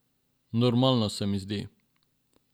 Normalno se mi zdi.